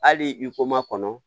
Hali i ko makɔnɔ